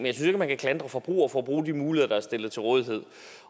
ikke at man kan klandre forbrugere for at bruge de muligheder der er stillet til rådighed